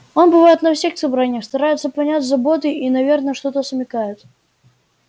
он бывает на всех собраниях старается понять заботы и наверно что-то смекает